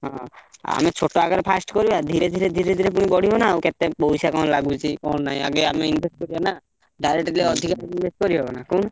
ହଁ ଆମେ ଛୋଟ ଆକାରେ first କରିବା ଧୀରେ ଧୀରେ ଧୀରେ ପୁଣି ବଢିବ ନାଉ। କେତେ ପଇସା କଣ ଲାଗୁଚି କଣ ନାଇଁ ଆଗେ ଆମେ invest କରିବା ନା? direct ଯଦି ଅଧିକା invest କରି ହବ ନା କହୁନ।